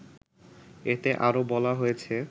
এতে আরও বলা হয়েছে